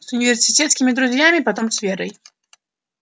с университетскими друзьями потом с верой